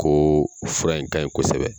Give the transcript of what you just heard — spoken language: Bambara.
Ko fura in ka ɲi kosɛbɛ.